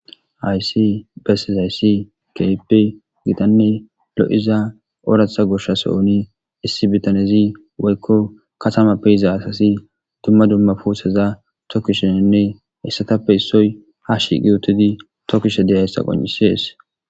Haysi besseizaysi kehipe gitanne lo7iza ooratha goshsha sohoni issi bitanezi woykko katamappeiza asasi dumma dumma puusaza tokisheninne hessatappe issoy ha shiqi utidi tokkishe deya hissa qon7isees